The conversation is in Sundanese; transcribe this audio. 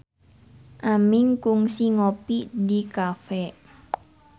Aming kungsi ngopi di cafe